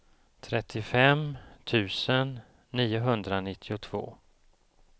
trettiofem tusen niohundranittiotvå